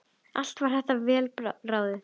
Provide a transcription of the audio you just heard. Allt var þetta vel ráðið.